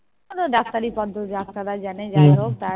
ও তো ডাক্তারি পদ্ধ ডাক্তাররাই জানে যাই হোক